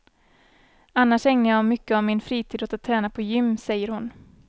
Annars ägnar jag mycket av min fritid åt att träna på gym, säger hon.